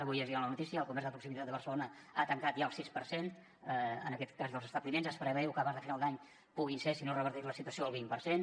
avui llegia la notícia que el comerç de proximitat de barcelona ha tancat ja el sis per cent en aquest cas dels establiments es preveu que abans de final d’any puguin ser si no es reverteix la situació el vint per cent